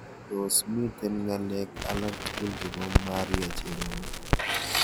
Tos' miten ng'alek alaktugul chebo maria cherono